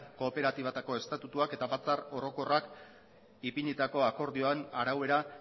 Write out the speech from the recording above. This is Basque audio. kooperatibatako estatutuak eta batzar orokorrak ipinitako akordioan arau era